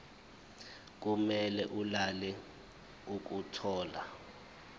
kube lula ukuthola